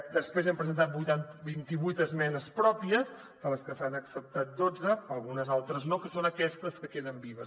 després hem presentat vint i vuit esmenes pròpies de les que se n’han acceptat dotze algunes altres no que són aquestes que queden vives